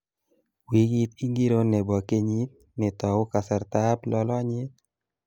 Wikit ingiro nebo kenyit, netou kasartab lolonyet